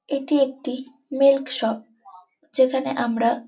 এটি একটি milk shop যেখানে আমরা --